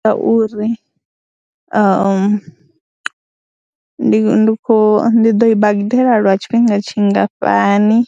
Ngauri nda ndi khou, ndi ḓo i badela lwa tshifhinga tshingafhani